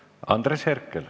Andres Herkel.